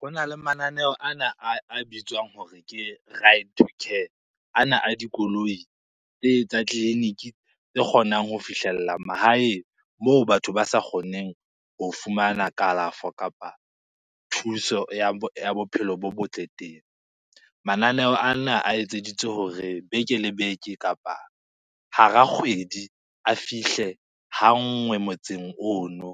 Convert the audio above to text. Ho na le mananeo ana a bitswang hore ke ana a dikoloi tsa tleliniki tse kgonang ho fihlella mahaeng moo batho ba sa kgoneng ho fumana kalafo kapa thuso ya bophelo bo botle teng. Mananeo ana a etseditswe hore beke le beke kapa hara kgwedi, a fihle ha nngwe motseng ono.